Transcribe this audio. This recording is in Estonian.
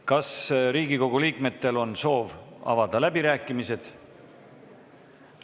Kas Riigikogu liikmetel on soovi avada läbirääkimisi?